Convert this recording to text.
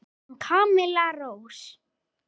Þín Camilla Rós.